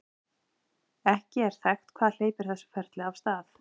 ekki er þekkt hvað hleypir þessu ferli af stað